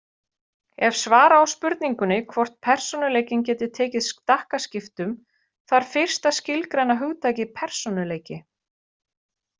Ef svara á spurningunni hvort persónuleikinn geti tekið stakkaskiptum þarf fyrst að skilgreina hugtakið persónuleiki.